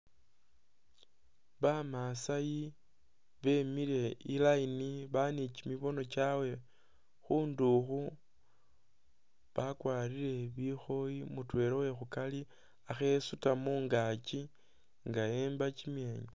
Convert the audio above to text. Ba masai bemile i'line bali ni kyimibono kyawe khundukhu, bakwarire bikhoyi mutwela uwekhukari akhe'esuta mungaakyi nga emba kyimyenya